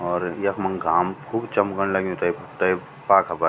और यखमंग घाम खूब चमकण लग्यूं ते तै पाखा पर।